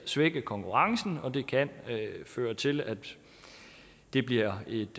svække konkurrencen og det kan føre til at det bliver et